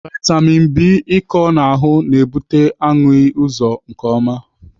Vitamin B ịkọ n'ahụ na-ebute ahụghị ụzọ nke ọma.